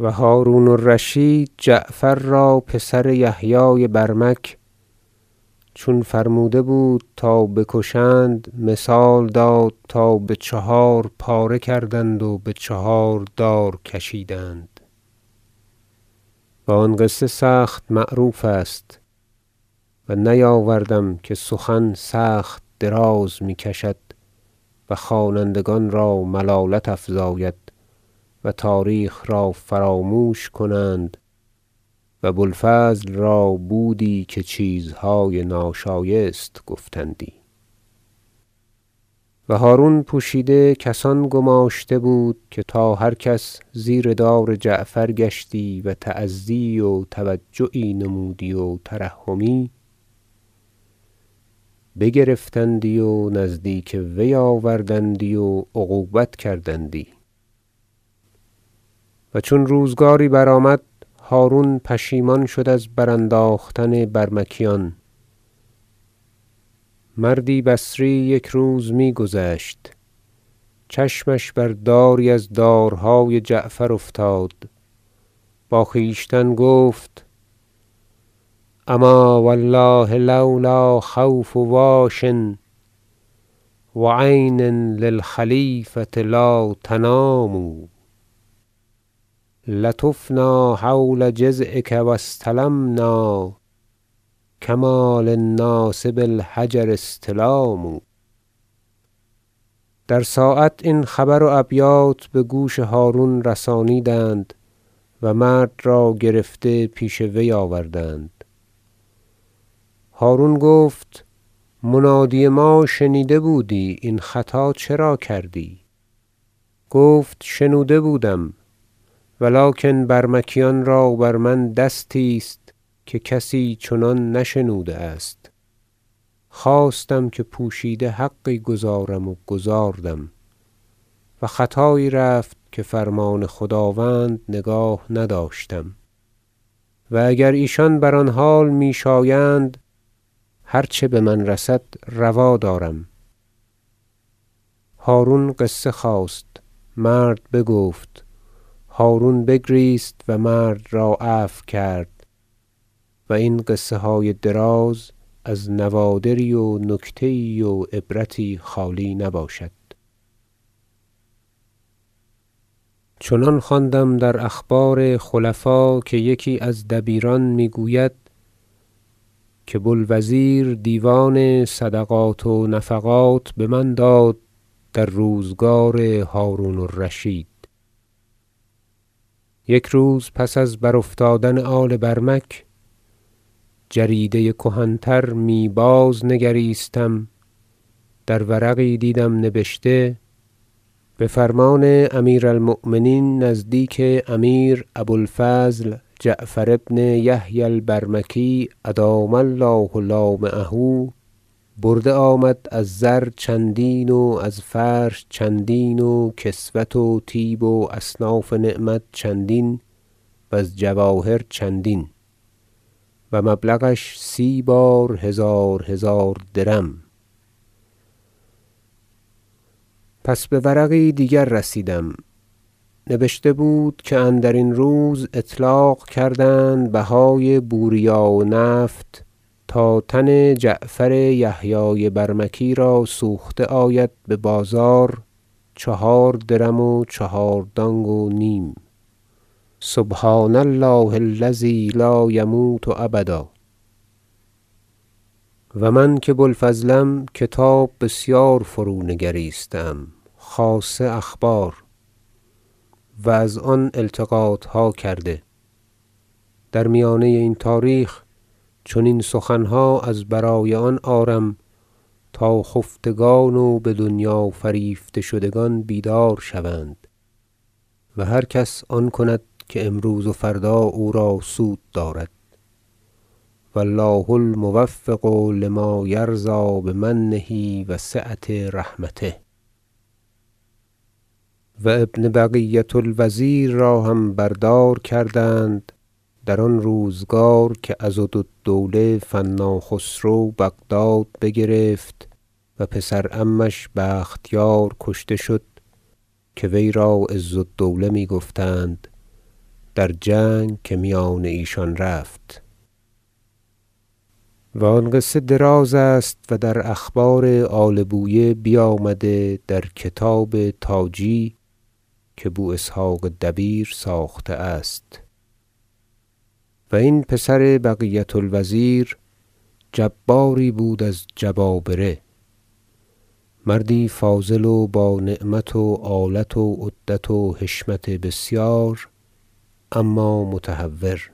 و هرون الرشید جعفر را پسر یحیی برمک چون فرموده بود تا بکشند مثال داد تا بچهار پاره کردند و بچهار دار کشیدند و آن قصه سخت معروف است و نیاوردم که سخن سخت دراز می کشد و خوانندگان را ملالت افزاید و تاریخ را فراموش کنند و بو الفضل را بودی که چیزهای ناشایست گفتندی و هرون پوشیده کسان گماشته بود که تا هر کس زیر دار جعفر گشتی و تأذیی و توجعی نمودی و ترحمی بگرفتندی و نزدیک وی آوردندی و عقوبت کردندی و چون روزگاری برآمد هرون پشیمان شد از برانداختن برمکیان مردی بصری یک روز می گذشت چشمش بر داری از دارهای جعفر افتاد با خویشتن گفت اما و الله لو لا خوف واش و عین للخلیفة لا تنام لطفنا حول جذعک و استلمنا کما للناس بالحجر استلام در ساعت این خبر و ابیات بگوش هرون رسانیدند و مرد را گرفته پیش وی آوردند هرون گفت منادی ما شنیده بودی این خطا چرا کردی گفت شنوده بودم و لکن برمکیان را بر من دستی است که کسی چنان نشنوده است خواستم که پوشیده حقی گزارم و گزاردم و خطایی رفت که فرمان خداوند نگاه نداشتم و اگر ایشان بر آن حال می شایند هرچه بمن رسد روا دارم هرون قصه خواست مرد بگفت هرون بگریست و مرد را عفو کرد و این قصه های دراز از نوادری و نکته یی و عبرتی خالی نباشد چنان خواندم در اخبار خلفا که یکی از دبیران میگوید که بو الوزیر دیوان صدقات و نفقات بمن داد در روزگار هرون الرشید یک روز پس از برافتادن آل برمک جریده کهن تر می بازنگریستم در ورقی دیدم نبشته بفرمان امیر المؤمنین نزدیک امیر ابو الفضل جعفر بن یحیی البرمکی ادام الله لامعه برده آمد از زر چندین و از فرش چندین و کسوت و طیب و اصناف نعمت چندین وز جواهر چندین و مبلغش سی بار هزار هزار درم پس بورقی دیگر رسیدم نبشته بود که اندرین روز اطلاق کردند بهای بوریا و نفط تا تن جعفر یحیی برمکی را سوخته آید ببازار چهار درم و چهار دانگ و نیم سبحان الله الذی لا یموت ابدا و من که بو الفضلم کتاب بسیار فرونگریسته ام خاصه اخبار و از آن التقاطها کرده در میانه این تاریخ چنین سخنها از برای آن آرم تا خفتگان و بدنیا فریفته شدگان بیدار شوند و هر کس آن کند که امروز و فردا او را سود دارد و الله الموفق لما یرضی بمنه و سعة رحمته و ابن بقیة الوزیر را هم بر دار کردند در آن روزگار که عضد الدوله فنا خسرو بغداد بگرفت و پسر عمش بختیار کشته شد- که وی را عز الدوله می گفتند- در جنگ که میان ایشان رفت و آن قصه دراز است و در اخبار آل بویه بیامده در کتاب تاجی که بو اسحق دبیر ساخته است و این پسر بقیة الوزیر جباری بود از جبابره مردی فاضل و بانعمت و آلت و عدت و حشمت بسیار اما متهور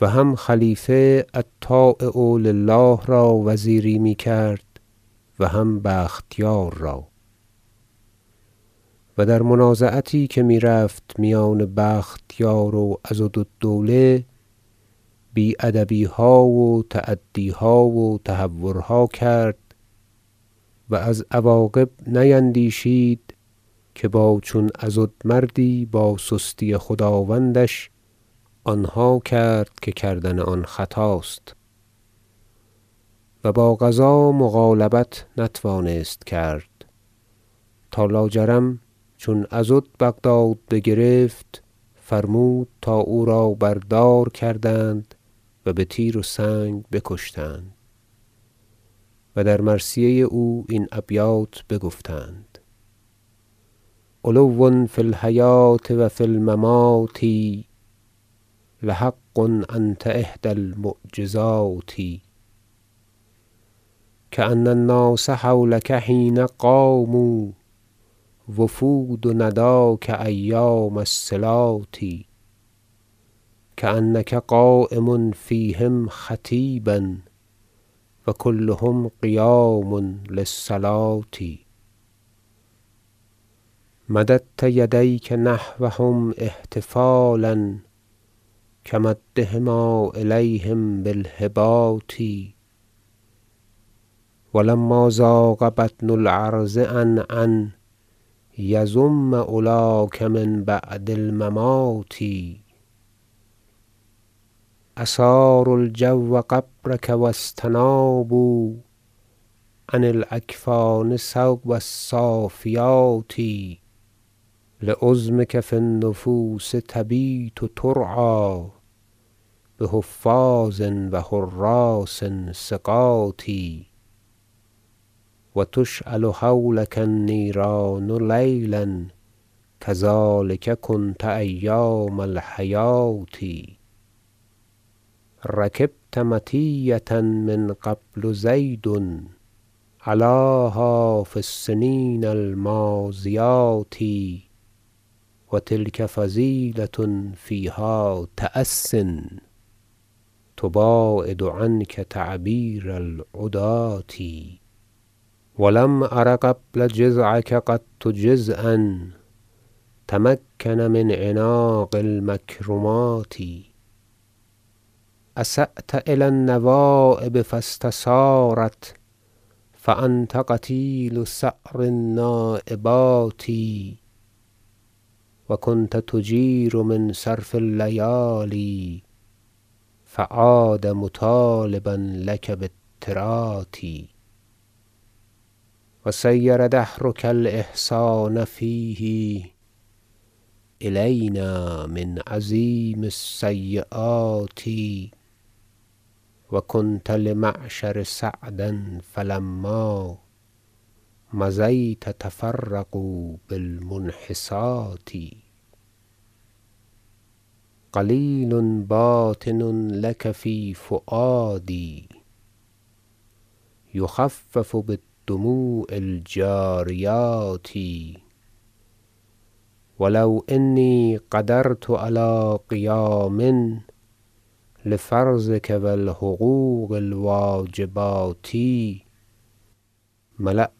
و هم خلیفه الطایع لله را وزیری میکرد و هم بختیار را و در منازعتی که میرفت میان بختیار و عضد الدوله بی ادبیها و تعدیها و تهورها کرد و از عواقب نیندیشید که با چون عضد مردی باسستی خداوندش آنها کرد که کردن آن خطاست و با قضا مغالبت نتوانست کرد تا لاجرم چون عضد بغداد بگرفت فرمود تا او را بر دار کردند و به تیر و سنگ بکشتند و در مرثیه او این ابیات بگفتند شعر علو فی الحیاة و فی الممات لحق انت احدی المعجزات کان الناس حولک حین قاموا وفود نداک ایام الصلات کانک قایم فیهم خطیبا و کلهم قیام للصلوة مددت یدیک نحوهم احتفالا کمدهما الیهم بالهبات و لما ضاق بطن الارض عن ان یضم علاک من بعد الممات اصاروا الجو قبرک و استنابوا عن الاکفان ثوب السافیات لعظمک فی النفوس تبیت ترعی بحفاظ و حراس ثقات و تشعل حولک النیران لیلا کذلک کنت ایام الحیاة رکبت مطیة من قبل زید علاها فی السنین الماضیات و تلک فضیلة فیها تأس تباعد عنک تعییر العداة و لم ار قبل جذعک قط جذعا تمکن من عناق المکرمات اسأت الی النوایب فاستثارت فانت قتیل ثأر النایبات و کنت تجیر من صرف اللیالی فعاد مطالبا لک بالترات و صیر دهرک الاحسان فیه الینا من عظیم السییات و کنت لمعشر سعدا فلما مضیت تفرقوا بالمنحسات غلیل باطن لک فی فوأدی یخفف بالدموع الجاریات و لو انی قدرت علی قیام لفرضک و الحقوق الواجبات ملات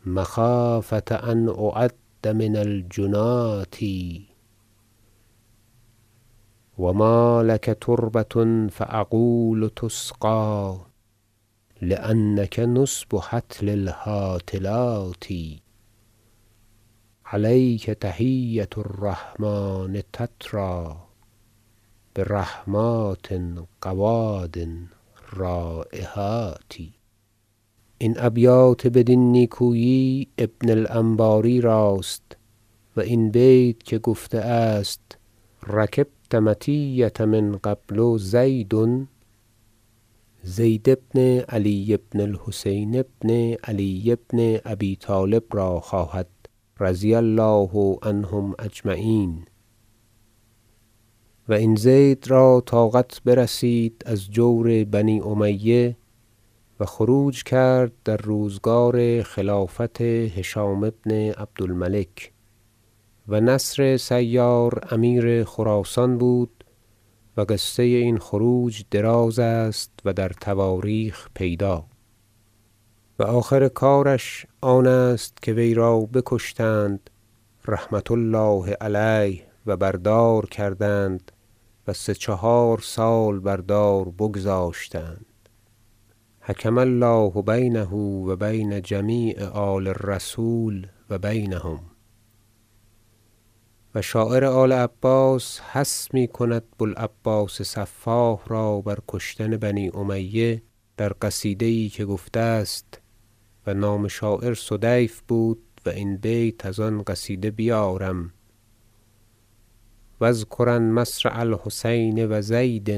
الارض من نظم القوافی و نحت بها خلاف النایحات و لکنی اصبر عنک نفسی مخافة ان اعد من الجناة و مالک تربة فاقول تسقی لانک نصب هطل الهاطلات علیک تحیة الرحمن تتری برحمات غواد رایحات این ابیات بدین نیکویی ابن الانباری راست و این بیت که گفته است رکبت مطیة من قبل زید زید بن علی بن الحسین بن علی بن ابی طالب را خواهد رضی الله عنهم اجمعین و این زید را طاقت برسید از جور بنی امیه و خروج کرد در روزگار خلافت هشام بن عبد الملک و نصر سیار امیر خراسان بود و قصه این خروج دراز است و در تواریخ پیدا و آخر کارش آن است که وی را بکشتند رحمة الله علیه و بر دار کردند و سه چهار سال بر دار بگذاشتند حکم الله بینه و بین جمیع آل الرسول و بینهم و شاعر آل عباس حث میکند بو العباس سفاح را بر کشتن بنی امیه در قصیده یی که گفته است و نام شاعر سدیف بود- و این بیت از آن قصیده بیارم بیت و اذکرن مصرع الحسین و زید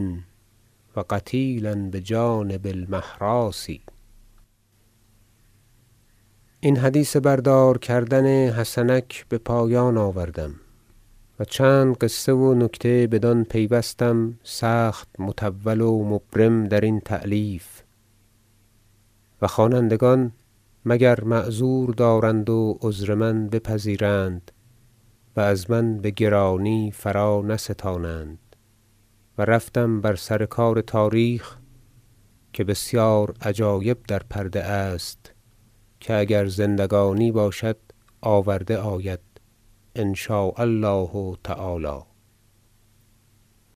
و قتیلا بجانب المهراس این حدیث بر دار کردن حسنک بپایان آورم و چند قصه و نکته بدان پیوستم سخت مطول و مبرم درین تألیف- و خوانندگان مگر معذور دارند و عذر من بپذیرند و از من بگرانی فرانستانند - و رفتم بر سر کار تاریخ که بسیار عجایب در پرده است که اگر زندگی باشد آورده آید ان شاء الله تعالی